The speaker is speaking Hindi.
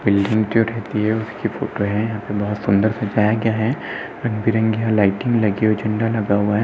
बिल्डिंग जो रहती है उसकी फोटो है। यहाँ पे बहोत सुंदर सजाया गया है। रंग बिरंगी यहाँ लाइटिंग लगी हुई है झंडा लगा हुआ है।